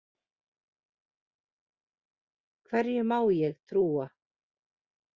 Hverju má ég trúa?